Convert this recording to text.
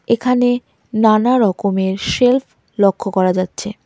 এখানে নানারকমের শেল্ফ লক্ষ করা যাচ্ছে.